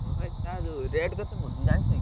ହଁ ଭାଇ ତା ଯୋଉ rate କେତେପଡୁଛି? ଜାଣିଛକି?